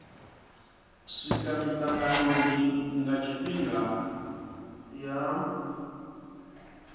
swika mitanganoni nga tshifhinga ya